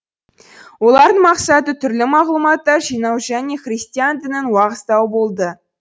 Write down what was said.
олардың мақсаты түрлі мағлұматтар жинау және христиан дінін уағыздау болды